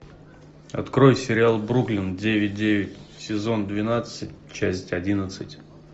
открой сериал бруклин девять девять сезон двенадцать часть одиннадцать